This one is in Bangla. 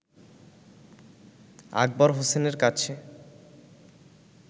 আকবর হোসেনের কাছে